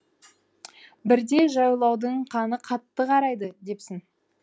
бірде жайлаудың қаны қатты қарайды депсің